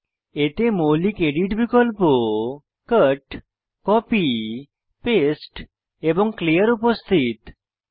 এতে মৌলিক এডিট বিকল্প কাট কপি পাস্তে এবং ক্লিয়ার উপস্থিত রয়েছে